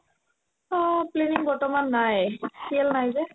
অ, planning বৰ্তমান নাই CL নাই যে